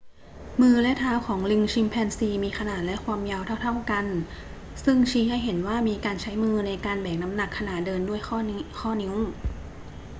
มือและเท้าของลิงชิมแปนซีมีขนาดและความยาวเท่า ๆ กัน ซึ่งชี้ให้เห็นว่ามีการใช้มือในการแบกน้ำหนักขณะเดินด้วยข้อนิ้ว